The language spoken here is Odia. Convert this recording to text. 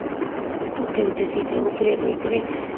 ଗୁଟେ ଗୁଟେ seat ରେ ଉପରେ ବଇଥିବେ